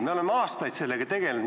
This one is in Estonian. Me oleme aastaid sellega tegelenud.